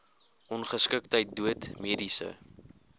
ongeskiktheid dood mediese